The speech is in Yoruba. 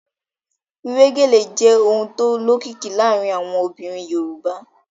Wíwé gèlè jẹ́ ohun tó lókìkí láàárín àwọn obìnrin Yorùbá